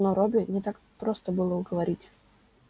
но робби не так просто было уговорить